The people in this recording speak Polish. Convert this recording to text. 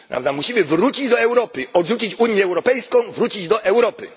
Musimy wrócić do Europy, odrzucić Unię Europejską, wrócić do Europy.